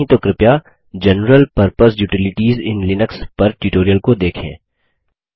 यदि नहीं तो कृपया general purpose utilities in Linux पर ट्यूटोरियल को देखें